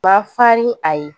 Ba fa ni a ye